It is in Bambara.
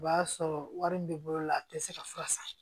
O b'a sɔrɔ wari min bɛ bolo la a tɛ se ka fura san